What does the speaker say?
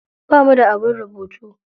Bamu da abin rubutu.